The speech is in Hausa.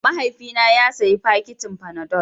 Mahaifina ya sayi fakitin fanadol.